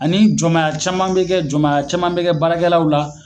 Ani jɔnmaya caman be kɛ jɔnmaya caman be kɛ baarakɛlaw la